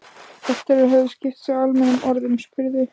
Eftir að þeir höfðu skipst á almennum orðum spurði